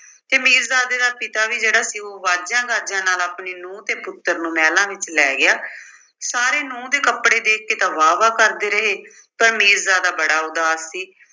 ਤੇ ਮੀਰਜ਼ਾਦੇ ਦਾ ਪਿਤਾ ਵੀ ਜਿਹੜਾ ਸੀ ਉਹ ਵਾਜਿਆਂ-ਗਾਜਿਆਂ ਨਾਲ ਆਪਣੀ ਨੂੰਹ ਤੇ ਪੁੱਤਰ ਨੂੰ ਮਹਿਲਾਂ ਵਿੱਚ ਲੈ ਗਿਆ। ਸਾਰੇ ਨੂੰਹ ਦੇ ਕੱਪੜੇ ਦੇਖ ਕੇ ਤਾਂ ਵਾਹ-ਵਾਹ ਕਰਦੇ ਰਹੇ ਪਰ ਮੀਰਜ਼ਾਦਾ ਬੜਾ ਉਦਾਸ ਸੀ।